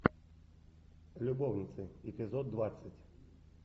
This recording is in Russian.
любовницы эпизод двадцать